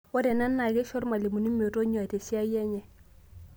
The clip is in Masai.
Ore ena naa keisho lmalimuni metonyua te siai enye